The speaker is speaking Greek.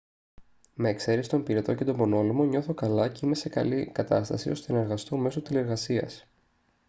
με εξαίρεση τον πυρετό και τον πονόλαιμο νιώθω καλά και είμαι σε καλή κατάσταση ώστε να εργαστώ μέσω τηλεργασίας